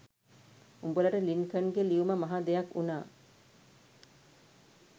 උඹලට ලින්කන්ගේ ලියුම මහා දෙයක් උනා